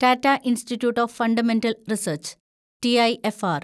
Tata Institute of Fundamental Research (TIFR)